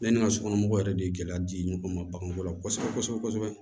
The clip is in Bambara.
Yanni n ka sokɔnɔ mɔgɔw yɛrɛ de gɛlɛya di ɲɔgɔn ma baganko la kosɛbɛ kosɛbɛ kosɛbɛ